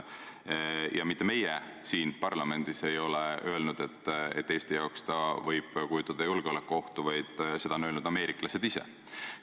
Ja mitte meie siin parlamendis ei ole öelnud, et ta võib Eesti jaoks kujutada julgeolekuohtu, vaid ameeriklased ise.